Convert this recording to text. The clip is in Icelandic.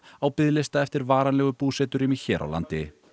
á biðlista eftir varanlegu búseturými hér á landi